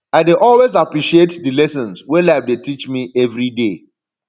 i dey always appreciate di lessons wey life dey teach me evriday